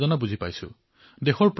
আপোনাৰ দুখ মই বুজিব পাৰিছো